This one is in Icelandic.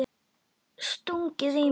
Stungið í mig?